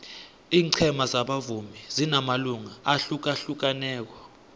ingcema zabavumi zinamalunga ahlukahlukaneko